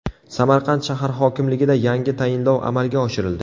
Samarqand shahar hokimligida yangi tayinlov amalga oshirildi.